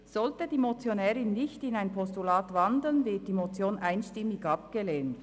Sollte die Motionärin nicht in ein Postulat wandeln, wird die Motion einstimmig abgelehnt.